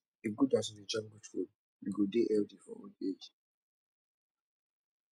e good as we dey chop good food we go dey healthy for old age